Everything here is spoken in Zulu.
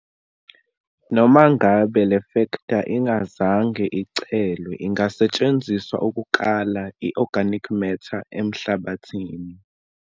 Noma ngabe lefektha ingazange icelwe ingasetshenziswa ukukala i-organic matter emhlabathini.